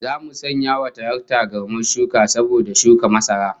Zamu sanya wa taraktar garmar shuka saboda shuka masara